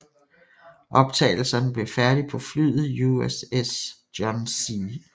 Optagelserne blev færdige på flyet USS John C